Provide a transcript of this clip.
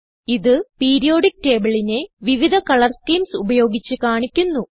ഇത് പീരിയോഡിക്ക് tableനെ വിവിധ കളർ സ്കീംസ് ഉപയോഗിച്ച് കാണിക്കുന്നു